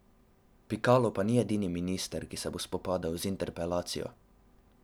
Pikalo pa ni edini minister, ki se bo spopadel z interpelacijo.